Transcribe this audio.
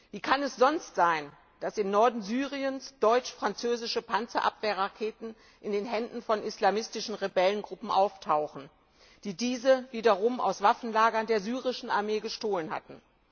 Wie kann es sonst sein, dass im Norden Syriens deutsch französische Panzerabwehrraketen in den Händen von islamistischen Rebellengruppen auftauchen, die diese wiederum aus Waffenlagern der syrischen Armee gestohlen haben.